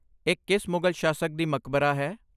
ਇਹ ਕਿਸ ਮੁਗਲ ਸ਼ਾਸਕ ਦੀ ਮਕਬਰਾ ਹੈ?